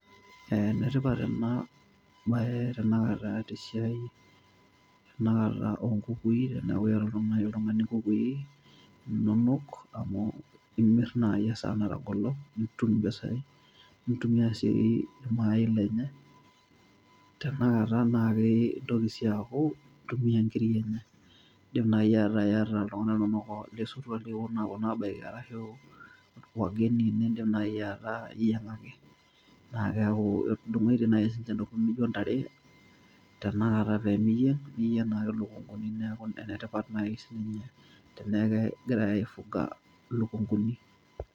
Ene tipat ena baye tenakata te siai tenakata o nkukui teeku iyata oltung'ani nkukui inonok, amu imir naai esaa natagolo nitum mpisai, nintumia sii ir mayai lenye tenakata naake itoki sii aaku intumia nkirik enye. Indim nai ataa iyata iltung'anak linonok losotua liking'ira aaponu aabaiki arashu wageni niindim nai ataa iyeng'aki naake eeku etudung'oitie nai sininje ntokitin naijo ntare tenakata teniyeng' niyeng' ake duo lukunkuni. Neeku ene tipat nai sininye teneeku egirai aifuga ilukung'uni.